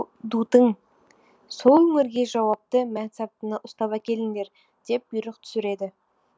дутың сол өңірге жауапты мәнсаптыны ұстап әкеліңдер деп бұйрық түсіреді